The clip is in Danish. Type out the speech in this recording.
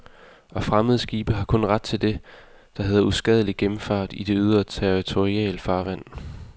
Og fremmede skibe har kun ret til det, der hedder uskadelig gennemfart i det ydre territorialfarvand.